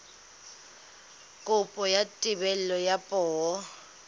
kopo ya thebolo ya poo